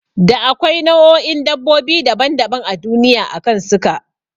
Da akwai nau'o'in dabbobi daban daban a duniya akan suka